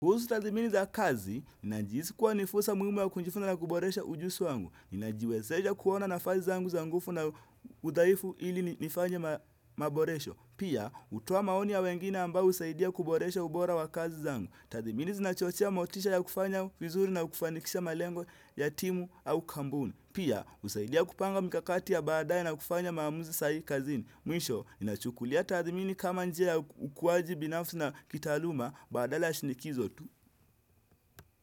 Kuhusu tathmini za kazi, najihisi kuwa ni fursa muhimu ya kujifunza na kuboresha ujuzi wangu. Inajiwezesha kuona nafasi zangu za nguvu na udhaifu ili nifanye maboresho. Pia, hutoa maoni ya wengine ambao husaidia kuboresha ubora wa kazi zangu. Tathmini zinachochea motisha ya kufanya vizuri na kufanikisha malengo ya timu au kampuni. Pia, husaidia kupanga mikakati ya baadae na kufanya maamuzi sai kazini. Mwisho, inachukulia tathmini kama njia ya ukuwaji binafsi na kitaaluma badala ya shinikizo tu.